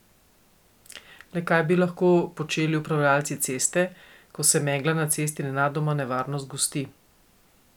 Le kaj bi lahko počeli upravljavci ceste, ko se megla na cesti nenadoma nevarno zgosti?